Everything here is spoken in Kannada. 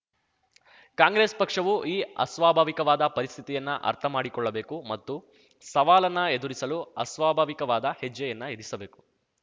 ಕಾಂಗ್ರೆಸ್‌ ಪಕ್ಷವು ಈ ಅಸ್ವಾಭಾವಿಕವಾದ ಪರಿಸ್ಥಿತಿಯನ್ನು ಅರ್ಥಮಾಡಿಕೊಳ್ಳಬೇಕು ಮತ್ತು ಸವಾಲನ್ನ ಎದುರಿಸಲು ಅಸ್ವಾಭಾವಿಕವಾದ ಹೆಜ್ಜೆಯನ್ನ ಇರಿಸಬೇಕು